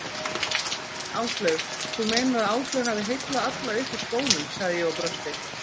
Áslaug, þú meinar að Áslaug hafi heillað alla upp úr skónum sagði ég og brosti.